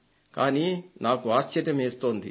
కానీ నాకు ఆశ్చర్యమేస్తోంది